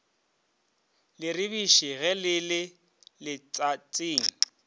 leribiši ge le le letšatšing